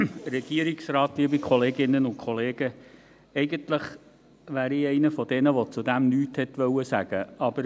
Eigentlich bin ich einer von denen, die dazu nichts sagen wollten.